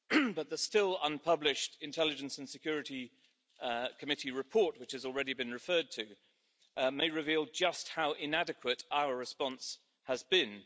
But the still unpublished Intelligence and Security Committee report, which has already been referred to, may reveal just how inadequate our response has been.